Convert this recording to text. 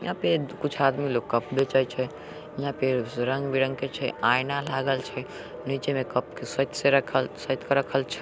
यहाँ पे कुछ आदमी लोग कप बेचेय छै। यहाँ पे सुरंग-विरंग के छै। आइना लागल छै। नीचे में कप के सेत से सेत के रखल छै।